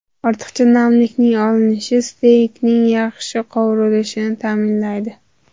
Ortiqcha namlikning olinishi steykning yaxshi qovurilishini ta’minlaydi.